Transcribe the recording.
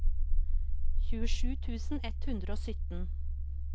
tjuesju tusen ett hundre og sytten